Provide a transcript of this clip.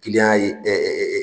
Kiliyan ye